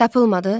Tapılmadı?